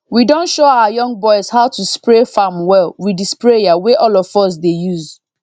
we don show our young boys how to spray farm well with the sprayer wey all of us dey use